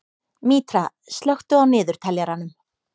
Mítra, slökktu á niðurteljaranum.